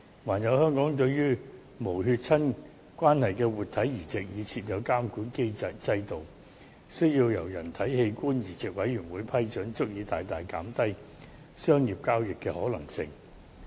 此外，香港對於無血親關係的活體移植已設有監管制度，需要由人體器官移植委員會批准，這足以大大減低商業交易的可能性。